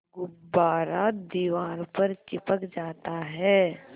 गुब्बारा दीवार पर चिपक जाता है